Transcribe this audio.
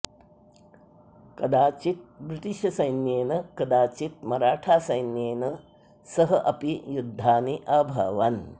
कदाचित् ब्रिटिशश्सैन्येन कदाचित् मराठासैन्येन सह अपि युद्धानि अभवन्